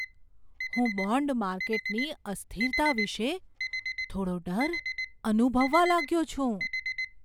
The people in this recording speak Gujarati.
હું બોન્ડ માર્કેટની અસ્થિરતા વિશે થોડો ડર અનુભવવા લાગ્યો છું.